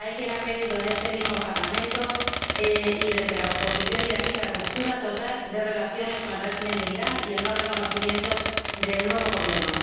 Hay quien ha pedido en este mismo Parlamento y desde la oposición iraní la ruptura total de relaciones con el régimen de Irán y el no reconocimiento del nuevo Gobierno.